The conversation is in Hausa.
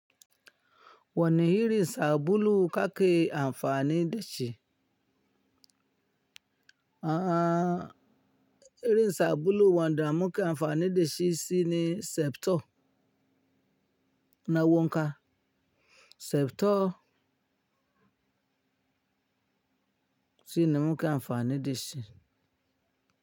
Wani irin sabulu ka ke amfani da shi? Aaa, irin sabulu wanda muke amfani da shi shine Septol na wanka. Septol shine muke amfani da shi.